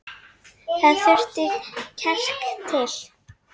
Það þurfti kjark til.